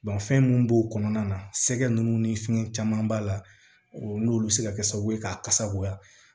fɛn mun b'o kɔnɔna na sɛgɛ nunnu ni fɛn caman b'a la n'olu bi se ka kɛ sababu ye k'a kasa goya